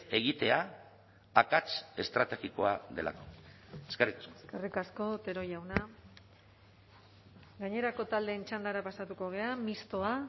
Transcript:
egitea akats estrategikoa delako eskerrik asko eskerrik asko otero jauna gainerako taldeen txandara pasatuko gara mistoa